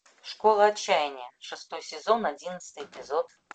школа отчаяния шестой сезон одиннадцатый эпизод